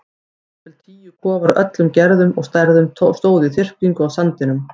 Um það bil tíu kofar af öllum gerðum og stærðum stóðu í þyrpingu á sandinum.